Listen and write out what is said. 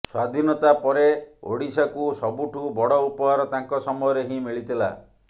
ସ୍ୱାଧୀନତା ପରେ ଓଡ଼ିଶାକୁ ସବୁଠୁ ବଡ଼ ଉପହାର ତାଙ୍କ ସମୟରେ ହିଁ ମିଳିଥିଲା